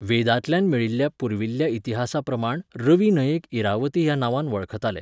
वेदांतल्यान मेळिल्ल्या पुर्विल्ल्या इतिहासाप्रमाण रवी न्हंयेक इरावती ह्या नांवान वळखताले.